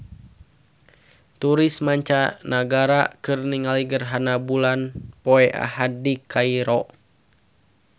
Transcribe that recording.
Turis mancanagara keur ningali gerhana bulan poe Ahad di Kairo